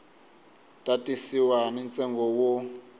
ta tisiwa ni ntsengo wo